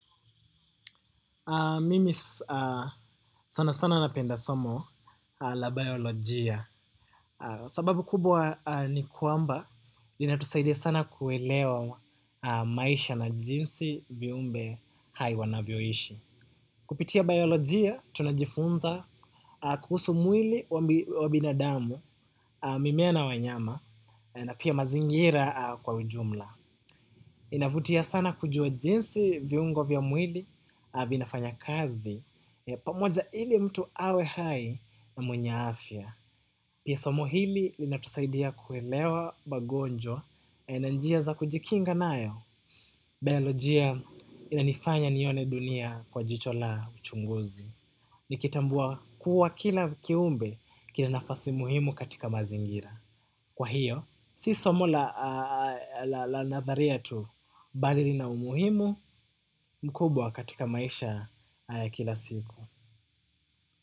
Mimi sana sana napenda somo la biolojia. Sababu kubwa ni kwamba, inatusaidia sana kuelewa maisha na jinsi viumbe hai wanayoishi. Kupitia biolojia, tunajifunza kuhusu mwili wa binadamu, mimea na wanyama, na pia mazingira kwa ujumla. Inavutia sana kujua jinsi viungo vya mwili, avinafanya kazi pamoja, ili mtu awe hai na mwenye afya. Pia somo hili linatusaidia kuelewa magonjwa, na njia za kujikinga nayo. Baiojia inanifanya nione dunia kwa jicho la uchunguzi. Nikitambua kuwa kila kiumbe kila nafasi muhimu katika mazingira. Kwa hiyo, si somo la nadharia tu. Bali lina umuhimu mkubwa katika maisha kila siku.